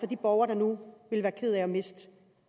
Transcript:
de borgere der nu vil være kede af at miste